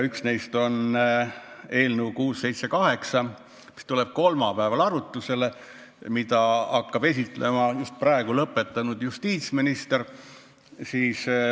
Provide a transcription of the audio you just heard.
Üks neist on eelnõu 678, mis tuleb kolmapäeval arutusele ja mida hakkab esitlema just praegu lõpetanud justiitsminister.